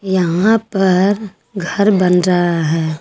यहां पर घर बन रहा है।